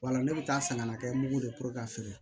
Wala ne bɛ taa san kana kɛ mugu don ka feere